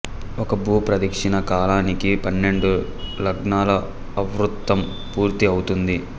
ఒక భూప్రదిక్షిణ కాలానికి పన్నెండు లగ్నాల ఆవృత్తం పూర్తి ఔతుంది